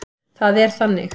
Það er þannig.